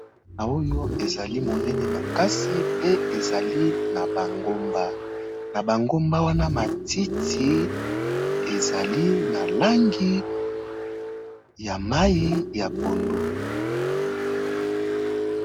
A oyo ezali monéné makasi, pe ezali na ba ngomba ,na ba ngomba wana matiti ezali na langi ya mayi ya pondu.